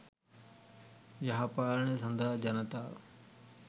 යහපාලනය සඳහා ජනතාව